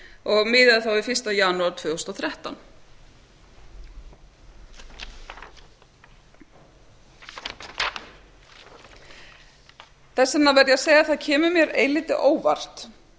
og miðað þá við fyrsta janúar tvö þúsund og þrettán þess vegna verð ég að segja að það kemur mér eilítið á óvart